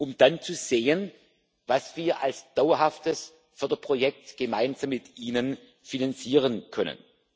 um dann zu sehen, was wir als dauerhaftes Förderprojekt, gemeinsam mit Ihnen finanzieren können.